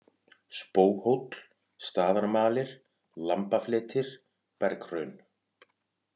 Spóhóll, Staðarmalir, Lambafletir, Berghraun